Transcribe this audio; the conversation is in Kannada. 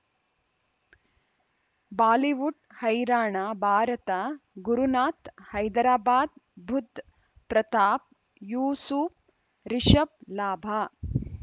ಬಾಲಿವುಡ್ ಹೈರಾಣ ಭಾರತ ಗುರುನಾಥ್ ಹೈದರಾಬಾದ್ ಬುಧ್ ಪ್ರತಾಪ್ ಯೂಸುಫ್ ರಿಷಬ್ ಲಾಭ